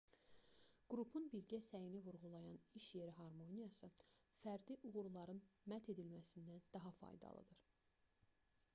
qrupun birgə səyini vurğulayan iş yeri harmoniyası fərdi uğurların mədh edilməsindən daha faydalıdır